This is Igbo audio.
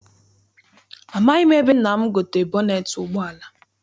Amaghị m ebe nna m gotere bọneet ụgbọala.